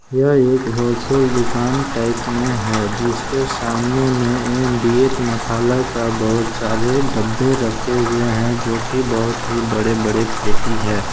यह एक होलसेल दुकान टाइप में है जिसके सामने में एम_डी_एच मसाला का बहुत सारे डब्बे रखे हुए हैं जो की बहुत ही बड़े बड़े पेटी है।